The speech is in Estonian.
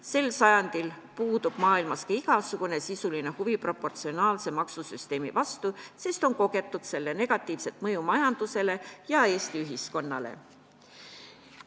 Sel sajandil puudub maailmas ka igasugune sisuline huvi proportsionaalse maksusüsteemi vastu, sest on kogetud selle negatiivset mõju majandusele, sellel on olnud negatiivne mõju ka Eesti ühiskonnale.